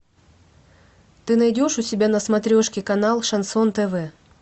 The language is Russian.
ты найдешь у себя на смотрешке канал шансон тв